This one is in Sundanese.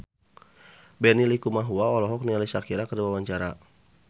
Benny Likumahua olohok ningali Shakira keur diwawancara